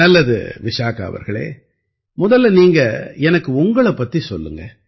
நல்லது விசாகா அவர்களே முதல்ல நீங்க எனக்கு உங்களைப் பத்திச் சொல்லுங்க